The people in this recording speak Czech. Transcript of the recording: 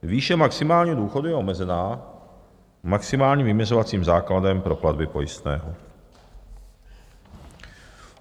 Výše maximálního důchodu je omezená maximálním vyměřovacím základem pro platby pojistného.